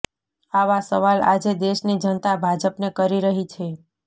આ સવાલ આજે દેશની જનતા ભાજપને કરી રહી છે